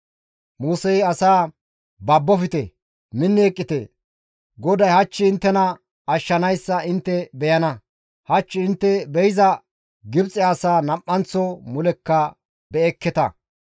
Musey asaa, «Babbofte; minni eqqite; GODAY hach inttena ashshanayssa intte beyana. Hach intte be7iza Gibxe asaa nam7anththo mulekka be7ekketa.